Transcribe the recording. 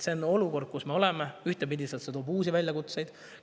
See olukord, kus me oleme, ühtepidi toob uusi väljakutseid.